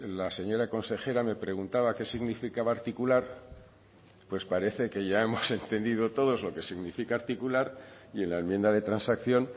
la señora consejera me preguntaba qué significaba articular pues parece que ya hemos entendido todos lo que significa articular y en la enmienda de transacción